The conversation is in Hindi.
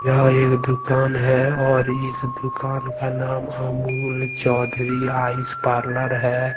यह एक दुकान है और इस दुकान का नाम अमूल चौधरी आइस पार्लर है।